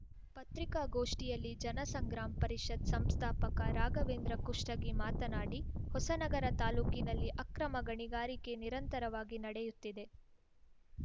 ಪತ್ರಿಕಾಗೋಷ್ಠಿಯಲ್ಲಿ ಜನಸಂಗ್ರಾಮ್‌ ಪರಿಷತ್‌ ಸಂಸ್ಥಾಪಕ ರಾಘವೇಂದ್ರ ಕುಷ್ಟಗಿ ಮಾತನಾಡಿ ಹೊಸನಗರ ತಾಲೂಕಿನಲ್ಲಿ ಅಕ್ರಮ ಗಣಿಗಾರಿಕೆ ನಿರಂತರವಾಗಿ ನಡೆಯುತ್ತಿದೆ